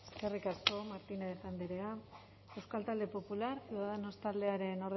eskerrik asko martínez andrea euskal talde popular ciudadanos taldearen